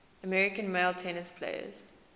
american male tennis players